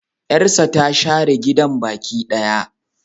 Yarsa ta share gidan baki daya.